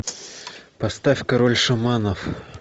поставь король шаманов